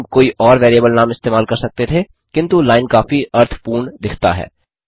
हम कोई और वैरिएबल नाम इस्तेमाल कर सकते थे किन्तु लाइन काफी अर्थपूर्ण दिखता है